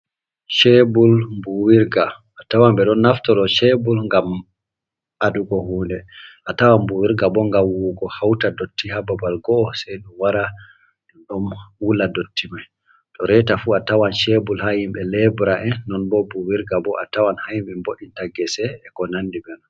Cebur buwirga a tawan be don naftoro do cebul ngam adugo hunde a tawan buwirga bo ngam wuwugo hauta dotti ha babal go'o sei dum wara no don wula dotti mai, to reta fu a tawan cebur ha himbe lebra'e non bo mbuwirga bo a tawan ha himbe boita gese e ko nandi be non.